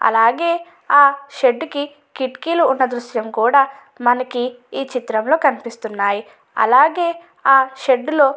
అలాగే ఆ షెడ్ కి కిటికీలు ఉన్న దృశ్యం కూడా మనకి ఈ చిత్రంలో కనిపిస్తున్నాయి. అలాగే ఆ షెడ్డు లో --